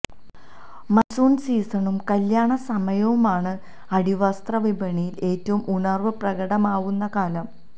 monsoon സീസണും കല്യാണ സമയവുമാണ് അടിവസ്ത്ര വിപണിയില് ഏറ്റവും ഉണര്വ് പ്രകടമാവുന്ന കാലം